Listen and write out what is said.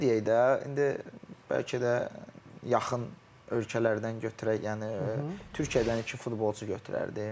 Belə deyək də, indi bəlkə də yaxın ölkələrdən götürək, yəni Türkiyədən iki futbolçu götürərdim.